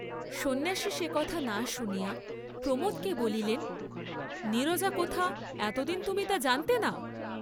সন্ন্যাসী সে কথা না শুনিয়া প্রমোদকে বলিলেন নীরজা কোথা, এত দিন তুমি তা জানতে না?